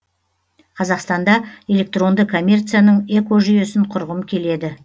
қазақстанда электронды коммерцияның экожүйесін құрғым келеді